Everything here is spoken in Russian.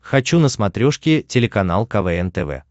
хочу на смотрешке телеканал квн тв